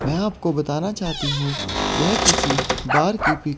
मैं आपको बताना चाहती हूं यह किसी बार की पि--